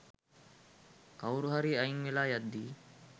කවුරුහරි අයින් වෙලා යද්දී.